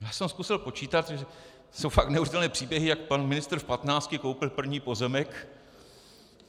Já jsem zkusil počítat, to jsou fakt neuvěřitelné příběhy, jak pan ministr v patnácti koupil první pozemek.